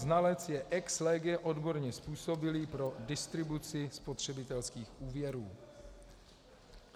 Znalec je ex lege odborně způsobilý pro distribuci spotřebitelských úvěrů.